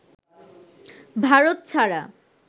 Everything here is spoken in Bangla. ভারত ছাড়া